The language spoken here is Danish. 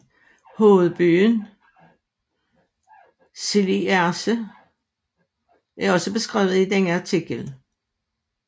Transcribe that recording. Hovedbyen Schliersee er også beskrevet i denne artikel